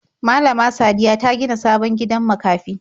Malama Sadiya ta gina sabon gidan makafi.